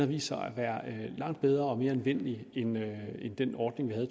vist sig at være langt bedre og mere anvendelig end den ordning vi havde